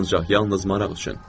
Ancaq yalnız maraq üçün.